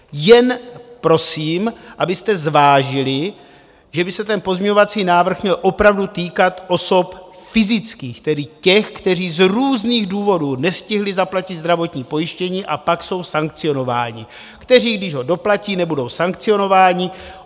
Jen prosím, abyste zvážili, že by se ten pozměňovací návrh měl opravdu týkat osob fyzických, tedy těch, kteří z různých důvodů nestihli zaplatit zdravotní pojištění a pak jsou sankcionováni, kteří, když ho doplatí, nebudou sankcionováni.